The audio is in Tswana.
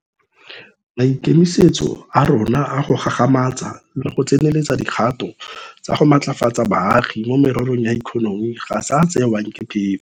Maikemisetso a rona a go gagamatsa le go tseneletsa dikgato tsa go matlafatsa baagi mo mererong ya ikonomi ga se a a tsewang ke phefo.